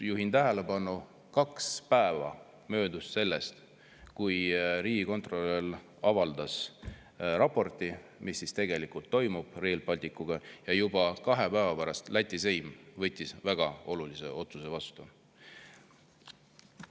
Juhin tähelepanu, et kaks päeva oli möödas sellest, kui riigikontrolör oli avaldanud raporti selle kohta, mis tegelikult toimub Rail Balticuga, ja juba kahe päeva pärast võttis Läti seim väga olulise otsuse vastu.